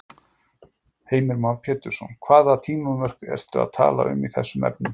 Heimir Már Pétursson: Hvaða tímamörk ertu að tala um í þessum efnum?